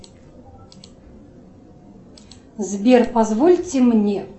сбер позвольте мне